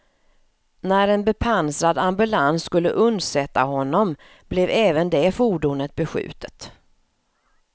När en bepansrad ambulans skulle undsätta honom blev även det fordonet beskjutet.